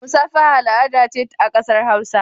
Musafaha al'ada ce a kasar hausawa.